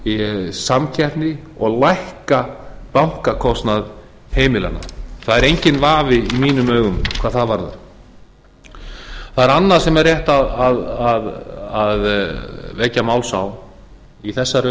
í samkeppni og lækka bankakostnað heimilanna það er enginn vafi í mínum augum hvað það varðar það er annað sem er rétt að vekja máls á í þessari